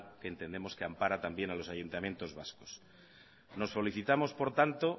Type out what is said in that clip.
que entendemos que ampara también a los ayuntamientos vascos por tanto nos felicitamos